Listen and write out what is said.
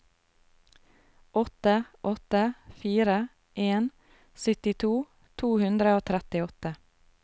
åtte åtte fire en syttito to hundre og trettiåtte